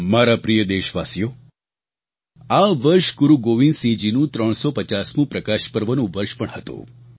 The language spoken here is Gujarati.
મારા પ્રિય દેશવાસીઓ આ વર્ષ ગુરુ ગોવિંદસિંહજીનું 350મું પ્રકાશ પર્વનું વર્ષ પણ હતું